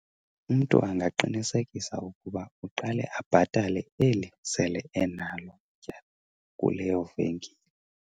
Umntu angaqinisekanga ukuba uqale abhatale eli sele enalo ityala kuleyo venkile.